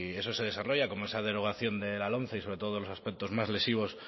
eso se desarrolla como esa derogación de la lomce y sobre todo los aspectos más lesivos